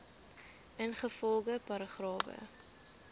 ingevolge paragrawe